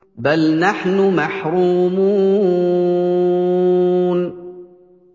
بَلْ نَحْنُ مَحْرُومُونَ